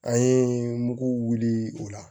An ye muguw wuli o la